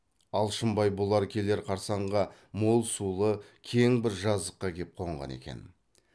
алшынбай бұлар келер қарсаңға мол сулы кең бір жазыққа кеп қонған екен